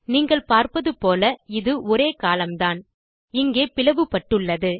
நீங்கள் பார்ப்பது போல இது ஒரே கோலம்ன் தான் இங்கே பிளவு பட்டுள்ளது